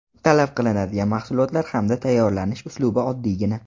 Talab qilinadigan mahsulotlar hamda tayyorlanish uslubi oddiygina.